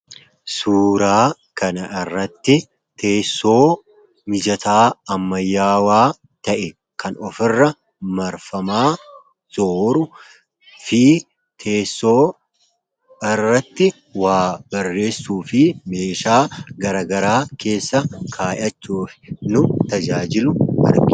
suuraa kan irratti teessoo mijataa ammayaawaa ta'e kan ofirra marfamaa zooru fi teessoo irratti waa barreessuu fi meeshaa garagaraa keessa kaayachuu nu tajaajilu.